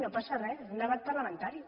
no passa re és un debat parlamentari